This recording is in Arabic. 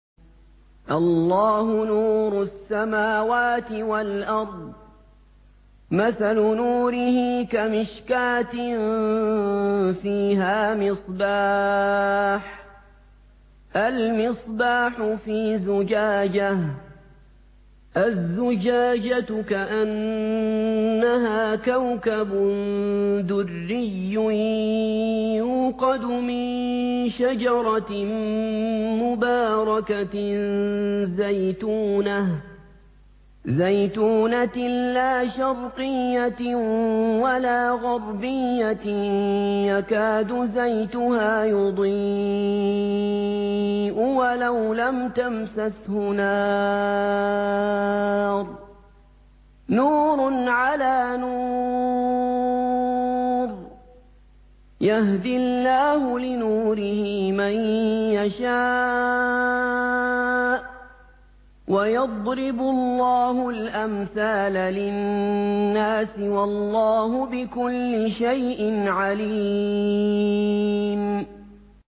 ۞ اللَّهُ نُورُ السَّمَاوَاتِ وَالْأَرْضِ ۚ مَثَلُ نُورِهِ كَمِشْكَاةٍ فِيهَا مِصْبَاحٌ ۖ الْمِصْبَاحُ فِي زُجَاجَةٍ ۖ الزُّجَاجَةُ كَأَنَّهَا كَوْكَبٌ دُرِّيٌّ يُوقَدُ مِن شَجَرَةٍ مُّبَارَكَةٍ زَيْتُونَةٍ لَّا شَرْقِيَّةٍ وَلَا غَرْبِيَّةٍ يَكَادُ زَيْتُهَا يُضِيءُ وَلَوْ لَمْ تَمْسَسْهُ نَارٌ ۚ نُّورٌ عَلَىٰ نُورٍ ۗ يَهْدِي اللَّهُ لِنُورِهِ مَن يَشَاءُ ۚ وَيَضْرِبُ اللَّهُ الْأَمْثَالَ لِلنَّاسِ ۗ وَاللَّهُ بِكُلِّ شَيْءٍ عَلِيمٌ